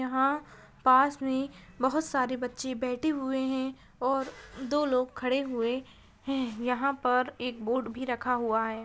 यहां पास में बहुत सारे बच्चे बैठे हुए है और दो लोग खड़े हुए है यहां पर एक बोर्ड भी रखा हुआ है।